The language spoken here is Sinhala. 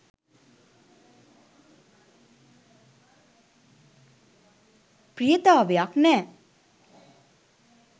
ප්‍රියතාවයක් නෑ.